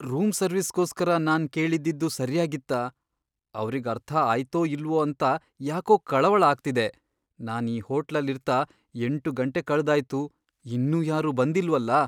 Room ಸರ್ವಿಸ್ಗೋಸ್ಕರ ನಾನ್ ಕೇಳಿದ್ದಿದ್ದು ಸರ್ಯಾಗಿತ್ತಾ, ಅವ್ರಿಗ್ ಅರ್ಥ ಆಯ್ತೋ ಇಲ್ವೋ ಅಂತ ಯಾಕೋ ಕಳವಳ ಆಗ್ತಿದೆ, ನಾನ್ ಈ ಹೋಟ್ಲಲ್ ಇರ್ತಾ ಎಂಟು ಗಂಟೆ ಕಳ್ದಾಯ್ತು, ಇನ್ನೂ ಯಾರೂ ಬಂದಿಲ್ವಲ್ಲ!